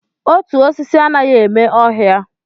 Otu osisi anaghị eme ọhịa